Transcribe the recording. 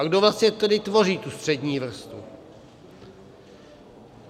A kdo vlastně tedy tvoří tu střední vrstvu?